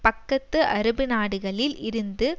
பக்கத்து அரபு நாடுகளில் இருந்து